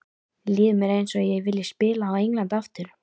Líður mér eins og ég vilji spila á Englandi aftur?